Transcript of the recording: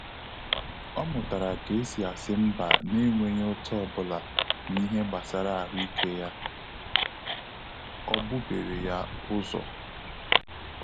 Ọ mụtara ka esi asị mba na enweghị ụ́tá ọbụla n'ihe gbasara ahụike ya,ọ bubere ya ụ́zọ̀